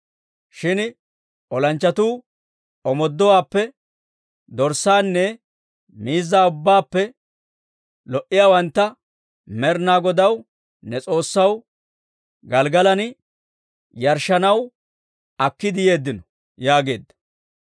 Shin olanchchatuu omooduwaappe dorssaanne miizzaa ubbaappe lo"iyaawantta, Med'inaa Godaw, ne S'oossaw, Gelggalan yarshshanaw akkiide yeeddino» yaageedda.